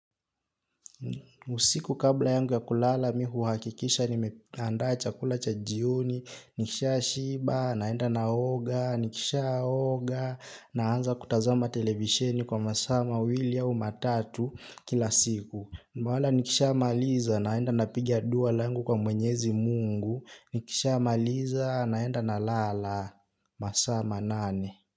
Usiku kabla yangu ya kulala mi huhakikisha nimeandaa chakula cha jioni. Nikisha shiba, naenda naoga, nikisha oga. Naanza kutazama televisheni kwa masaa mawili au matatu kila siku wala nikisha maliza, naenda napigi dua langu kwa mwenyezi mungu. Nikisha maliza, naenda na lala, masama manane.